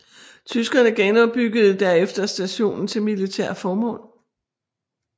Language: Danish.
Tyskerne genopbyggede derefter stationen til militære formål